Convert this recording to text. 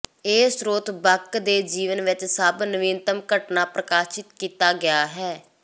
ਇਹ ਸਰੋਤ ਬਕ ਦੇ ਜੀਵਨ ਵਿੱਚ ਸਭ ਨਵੀਨਤਮ ਘਟਨਾ ਪ੍ਰਕਾਸ਼ਿਤ ਕੀਤਾ ਗਿਆ ਹੈ